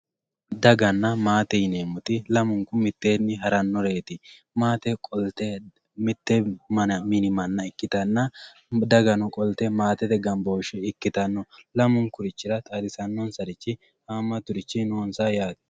Daganna maate yineemoti lamunku mittenni haranoreti, maate qolite mite mini mana ikkitanna, daga qolite maatete gambooshe ikkitanolamunkura xaadisanobsari haamaturichi no yaate